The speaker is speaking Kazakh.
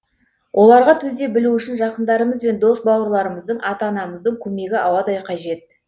оларға төзе білу үшін жақындарымыз бен дос бауырларымыздың ата анамыздың көмегі ауадай қажет